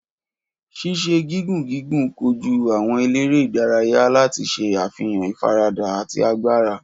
Ṣiṣe gigun gigun koju awọn elere idaraya lati ṣe afihan ifarada ati agbara.